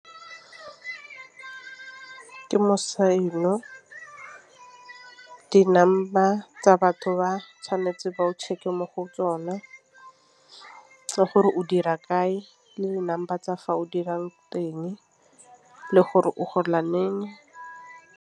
Ke di-number tsa batho ba tshwanetse ba o check e mo go tsona gore o dira kae le di-number tsa fa o dirang teng le gore o gola leng.